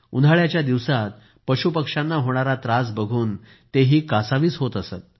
उन्हाळ्याच्या दिवसांत पशुपक्ष्यांना होणारा त्रास बघून तेही कासावीस होत असत